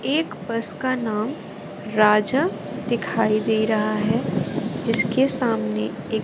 एक बस का नाम राजा दिखाई दे रहा है जिसके सामने एक--